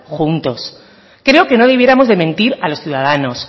juntos creo que no debiéramos de mentir a los ciudadanos